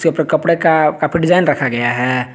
के ऊपर कपड़े का कपड़ा डिजाइन रखा गया है।